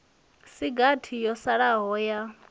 si gathi yo salaho ya